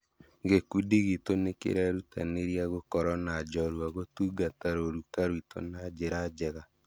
Gĩkundi gitũ nĩkĩrerutanĩria gũkorwo na njorua gũtungata rũruka rwitũ na njĩra njega